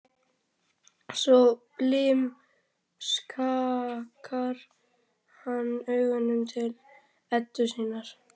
Svo blimskakkar hann augunum til Eddu sinnar.